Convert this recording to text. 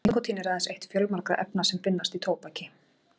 nikótín er aðeins eitt fjölmargra efna sem finnast í tóbaki